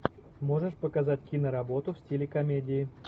можешь показать киноработу в стиле комедии